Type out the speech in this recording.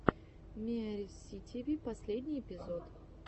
миарисситиви последний эпизод